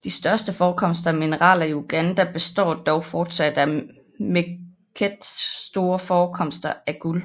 De største forekomster af mineraler i Uganda består dog fortsat af megket store forekomster af guld